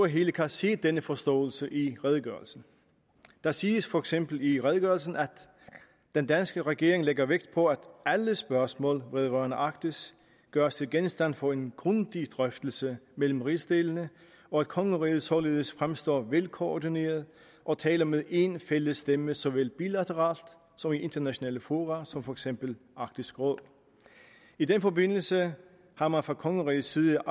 hele kan se denne forståelse i redegørelsen der siges for eksempel i redegørelsen at den danske regering lægger vægt på at alle spørgsmål vedrørende arktis gøres til genstand for en grundig drøftelse mellem rigsdelene og at kongeriget således fremstår velkoordineret og taler med en fælles stemme såvel bilateralt som i internationale fora som for eksempel arktisk råd i den forbindelse har man fra kongerigets side